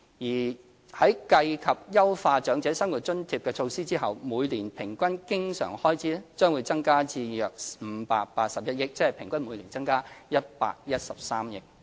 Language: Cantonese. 而在計及優化長者生活津貼的措施後，每年平均經常開支將增加至約581億元，即平均每年增加約113億元。